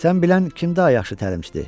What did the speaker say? Sən bilən kim daha yaxşı təlimçidir?